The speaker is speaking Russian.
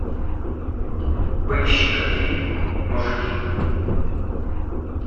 поищи ка фильм мужики